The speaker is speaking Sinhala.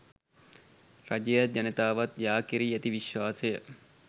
රජයත් ජනතාවත් යා කෙරී ඇති විශ්වාසය